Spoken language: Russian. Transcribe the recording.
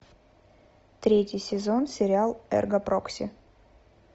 третий сезон сериал эрго прокси